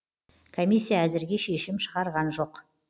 комиссия әзірге шешім шығарған жоқ